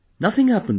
Nothing happened